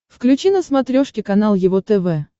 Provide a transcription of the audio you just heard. включи на смотрешке канал его тв